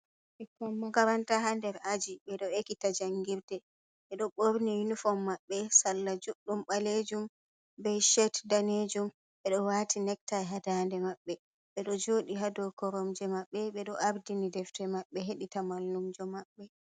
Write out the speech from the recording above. Ɓikkon makaranta ha nder aji ɓeɗo ekita jangirde. ɓeɗo ɓorni yunifom maɓɓe salla juɗɗum ɓalejum be shet danejum, ɓeɗo wati nektai hadande maɓɓe, ɓeɗo joɗi hadow koromje maɓɓe, ɓeɗo ardini deftere maɓɓe, heɗi ta mallumjo maɓɓe.